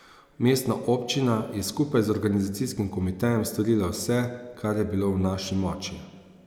Mestna občina je skupaj z organizacijskim komitejem storila vse, kar je bilo v naši moči.